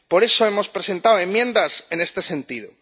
Por eso hemos presentado enmiendas en este sentido.